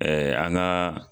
an ka